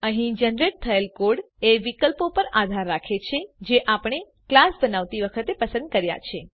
અહીં જનરેટ થયલ કોડ એ વિકલ્પો પર આધાર રાખે છે જે આપણે કલાસ બનાવતી વખતે પસંદ કર્યા છે